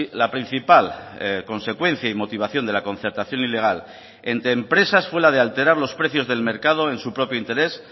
la principal consecuencia y motivación de la concertación ilegal entre empresas fue la de alterar los precios del mercado en su propio interés